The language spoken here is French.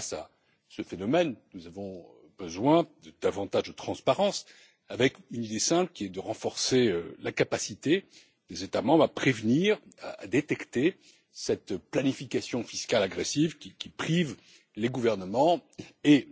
Face à ce phénomène, nous avons besoin de davantage de transparence, avec une idée simple qui est de renforcer la capacité des États membres à prévenir, à détecter cette planification fiscale agressive qui prive les gouvernements et